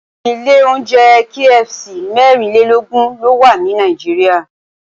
Ilé oúnjẹ KFC mẹ́rìnlélógún ló wà ní Nàìjíríà